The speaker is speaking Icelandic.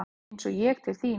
Eins og ég til þín?